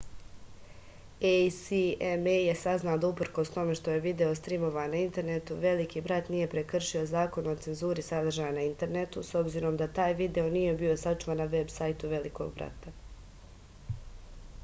acma je saznala da uprkos tome što je video strimovan na internetu veliki brat nije prekršio zakon o cenzuri sadržaja na internetu s obzirom da taj video nije bio sačuvan na veb sajtu velikog brata